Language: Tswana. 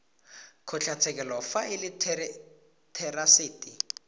kgotlatshekelo fa e le therasete